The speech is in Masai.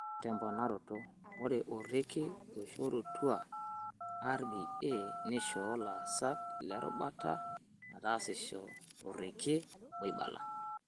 Temponaroto, ore orekia oishorutua RBA neishoo laasak le rubata meetasisho toorekai oibala.